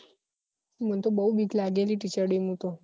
મન તો બઉ બીક લાગે teacher day માં તો